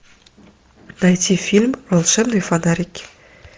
найти фильм волшебные фонарики